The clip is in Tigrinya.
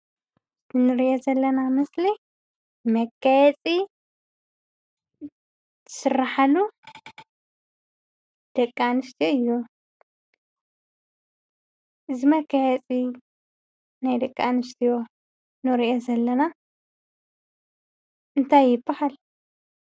እዚ ንርኦ ዘለና ምስሊ መጋየፂ ዝስርሓሉ ደቂ ኣንስትዮ እዩ። እዚ መጋየፂ ናይ ደቂ ኣንስትዮ ንርኦ ዘለና እንታይ ይብሃል?